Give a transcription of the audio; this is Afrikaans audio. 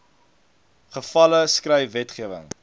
gevalle skryf wetgewing